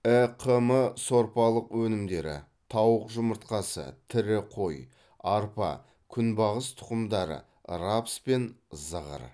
іқм сорпалық өнімдері тауық жұмыртқасы тірі қой арпа күнбағыс тұқымдары рапс пен зығыр